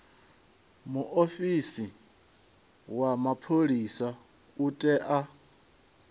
muofisi wa mapholisa u tea